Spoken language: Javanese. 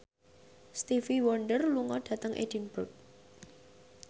Stevie Wonder lunga dhateng Edinburgh